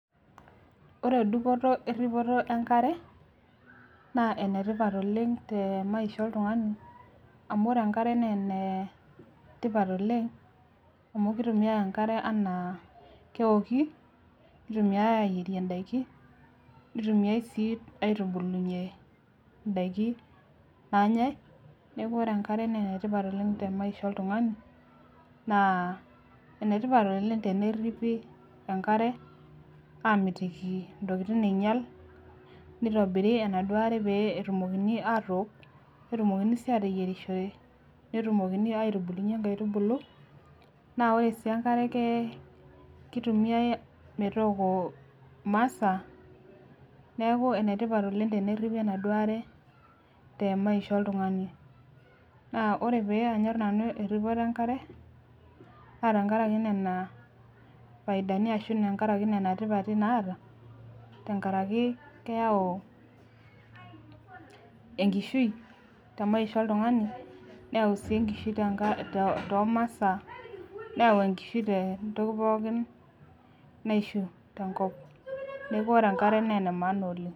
Ore dupoto erripoto enkare naa enetipat oleng te maisha oltung'ani amu ore enkare naa ene tipat oleng amu kitumiae enkare anaa keoki nitumiae ayierie indaiki nitumiae sii aitubulunyie indaiki nanyae neku ore enkare nenetipat oleng te maisha oltung'ani naa enetipat oleng tenerripi enkare amitiki intokitin einyial nitobiri enaduo are pee etumokini atook netumokini sii ateyierishore netumokini aitubulunyie inkaitubulu naa ore sii enkare ke kitumiae metooko imasaa neeku enetipat oleng tenerripi enaduo are te maisha oltung'ani naa ore pee anyorr nanu erripoto enkare naa tenkarake nena faidani ashu tenkarake nena tipati naata tenkaraki keyau enkishui te maisha oltung'ani neyau sii enkishui tenka too tomasaa neyau enkishui tentoki pookin naishiu tenkop neku ore enkare naa ene maana oleng.